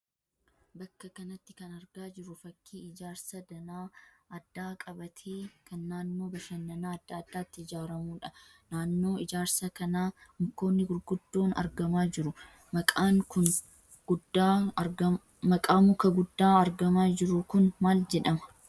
Bakka kanatti kan argaa jirru fakkii Ijaarsa danaa addaa qabaatee kan naannoo bashannana adda addaatti ijaaramuudha. Naannoo ijaarsa kanaa Mukoonni gurguddoon argamaa jiru. Maqaan muka guddaa argamaa jiru kun maal jedhama?